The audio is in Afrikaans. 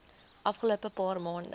afgelope paar maande